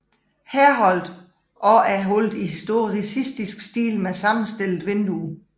Herholdt og er holdt i historicistisk stil med sammenstillede vinduer